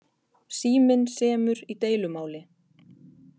Síminn semur í deilumáli